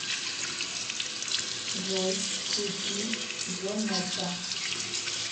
джой включи джо мерса